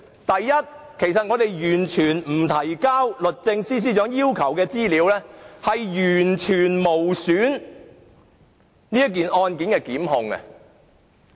第一，不提交律政司要求的資料，完全無阻本案的檢控工作。